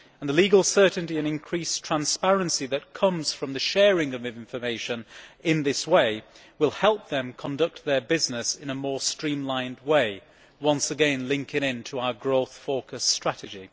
The legal certainty and increased transparency that comes from the sharing of information in this way will help them conduct their business in a more streamlined way, once again linking into our growth focused strategy.